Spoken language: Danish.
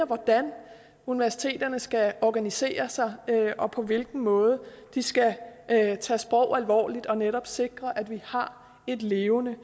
hvordan universiteterne skal organisere sig og på hvilken måde de skal tage sprog alvorligt og netop sikre at vi har et levende